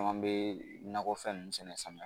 Caman bɛ nakɔfɛn ninnu sɛnɛ samiya